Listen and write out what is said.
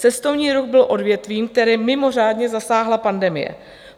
Cestovní ruch byl odvětvím, které mimořádně zasáhla pandemie.